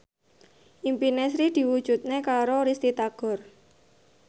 impine Sri diwujudke karo Risty Tagor